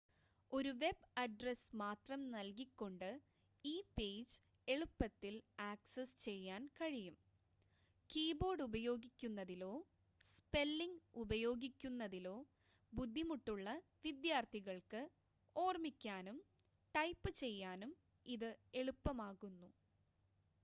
ഒരു web address മാത്രം നൽകികൊണ്ട് ഈ പേജ് എളുപ്പത്തിൽ ആക്സസ് ചെയ്യാൻ കഴിയും കീബോർഡ് ഉപയോഗിക്കുന്നതിലോ സ്പെല്ലിങ് ഉപയോഗിക്കുന്നതിലോ ബുദ്ധിമുട്ടുള്ള വിദ്യാർത്ഥികൾക്ക് ഓർമ്മിക്കാനും ടൈപ്പ് ചെയ്യാനും ഇത് എളുപ്പമാക്കുന്നു